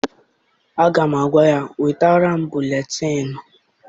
Aga m agwa ya, wetara m buletịịnụ!